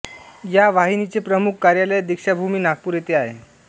या वाहिनीचे प्रमुख कार्यालय दीक्षाभूमी नागपूर येथे आहे